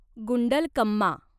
Gundlakamma